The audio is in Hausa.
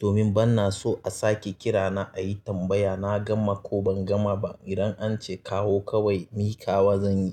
Domin bana so a sake kira na a yi tambaya na gama ko ban gama ba. Idan an ce kawo kawai, mikaws zan yi.